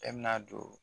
E bɛna don